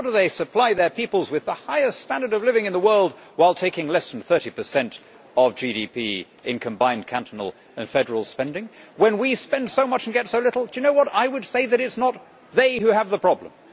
How do they supply their peoples with the highest standard of living in the world while taking less than 30 of GDP in combined cantonal and federal spending, when we spend so much and get so little? Do you know what I would say that is not they who have the problem.